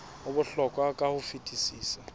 ho bohlokwa ka ho fetisisa